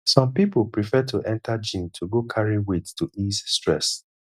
some pipo prefer to enter gym to go carry weight to ease stress